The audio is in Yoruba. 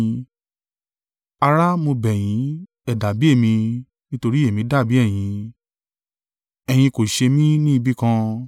Ará, mo bẹ̀ yín, ẹ dàbí èmi: nítorí èmi dàbí ẹ̀yin: ẹ̀yin kò ṣe mí ní ibi kan.